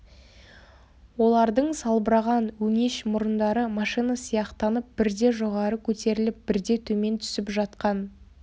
олардың салбыраған өңеш мұрындары машина сияқтанып бірде жоғары көтеріліп бірде төмен түсіп жатқан